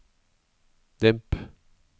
demp